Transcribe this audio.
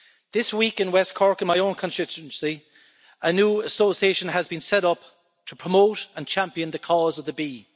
This week in west Cork, in my own constituency, a new association has been set up to promote and champion the cause of the bee.